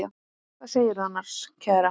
Hvað segirðu annars, kæra?